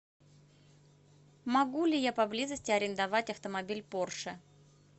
могу ли я поблизости арендовать автомобиль порше